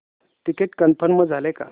ticket confirm झाले का